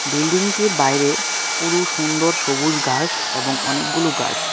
বিল্ডিংটির পুরো সুন্দর সবুজ ঘাস এবং অনেকগুলো গাছ .]